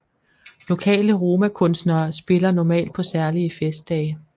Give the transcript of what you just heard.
Lokale romakunstnere spiller normalt på særlige festdage